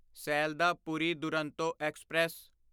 Sealdah Puri Duronto express